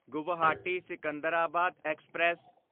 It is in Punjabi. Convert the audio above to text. ਗੁਵਾਹਾਟੀ ਸਿਕੰਦਰਾਬਾਦ ਐਕਸਪ੍ਰੈਸ